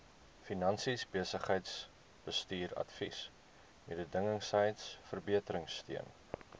finansies besigheidsbestuursadvies mededingendheidsverbeteringsteun